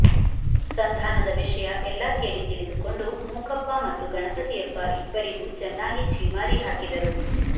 ಸಂಧಾನದ ವಿಷಯ ಎಲ್ಲ ಕೇಳಿ ತಿಳಿದುಕೊಂಡು ಮೂಕಪ್ಪ ಮತ್ತು ಗಣಪತಿಯಪ್ಪ ಇಬ್ಬರಿಗೂ ಚೆನ್ನಾಗಿ ಛೀಮಾರಿ ಹಾಕಿದರು